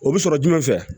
O bɛ sɔrɔ jumɛn fɛ yan